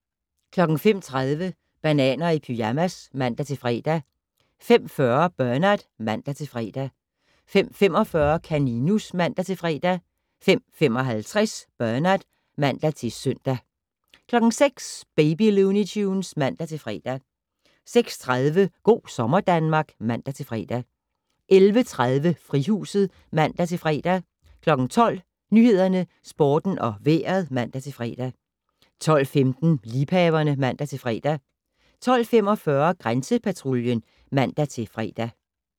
05:30: Bananer i pyjamas (man-fre) 05:40: Bernard (man-fre) 05:45: Kaninus (man-fre) 05:55: Bernard (man-søn) 06:00: Baby Looney Tunes (man-fre) 06:30: Go' sommer Danmark (man-fre) 11:30: Frihuset (man-fre) 12:00: Nyhederne, Sporten og Vejret (man-fre) 12:15: Liebhaverne (man-fre) 12:45: Grænsepatruljen (man-fre)